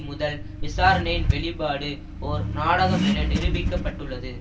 முதல் விசாரனையின் வெளிபாடு ஓர் நாடகம் என நிரூபிக்கப்பட்டுள்ளது